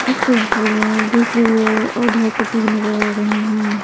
इस तस्वीर में दूसरी गाय आधा कटी नजर आ रही हैं।